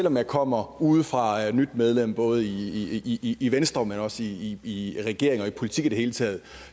om jeg kommer udefra og er nyt medlem både i i venstre men også i regering og politik i det hele taget